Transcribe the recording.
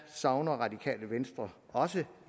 savner radikale venstre også